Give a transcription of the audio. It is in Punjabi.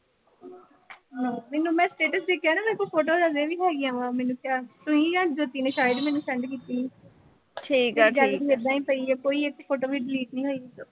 ਹਾਂ ਮੈਨੂੰ ਮੈਂ status ਦੇਖਿਆ ਨਾ, ਮੇਰੇ ਕੋਲ ਫੋਟੋਆਂ ਹਜੇ ਵੀ ਹੈਗੀਆਂ ਵਾ, ਮੈਨੂੰ ਸ਼ਾਇਦ ਤੂਸੀਂ ਦਿੱਤੀਆਂ ਨੇ send ਕੀਤੀਆਂ ਸੀ ਮੇਰੀ gallery ਚ ਏਦਾਂ ਹੀ ਪਈ ਆ, ਕੋਈ ਇੱਕ photo ਵੀ delete ਨੀਂ ਹੋਈ।